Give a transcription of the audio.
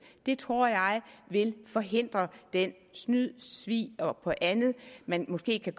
det tror jeg vil forhindre det snyd svig og andet man måske kan